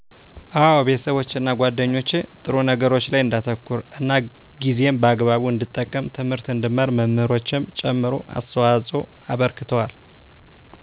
አወ ቤተሠቦቼና ጌደኞቸ ጥሩ ነገሮች ላይ እንዳተኩር እና ጊዜን በአግቡ እንድጠቀም ትምህርት እንድማር መምህሮቸም ጨምሮ አስተዋፅኦ አበርክተዋል